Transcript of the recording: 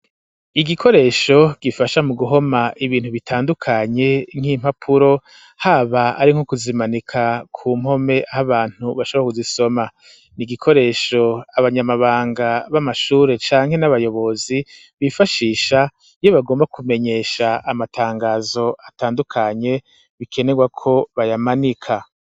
Igikoresho, gifasha mu guhoma ibintu bitandukanye, nk'impapuro, haba ari nko kuzimanika ku mpome, aho abantu bashobora kuzisoma; ni igikoresho abanyamabanga b'amashure, canke n'abayobozi, bifashisha iyo bagomba kumenyesha amatangazo atandukanye, bikenerwa ko bayamanika.